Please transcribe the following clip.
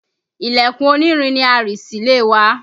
Ilẹ̀kùn onírin ni a rì sílé wa